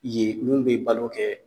Yen mun be balo kɛ